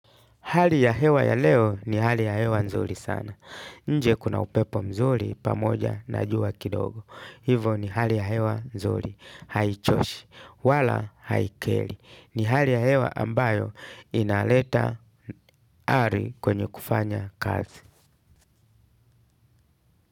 Hali ya hewa ya leo ni hali ya hewa nzuri sana. Nje kuna upepo mzuri pamoja na jua kidogo. Hivo ni hali ya hewa nzuri. Haichoshi, wala haikeli. Ni hali ya hewa ambayo inaleta ari kwenye kufanya kazi.